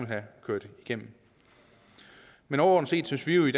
have ført igennem men overordnet set synes vi jo i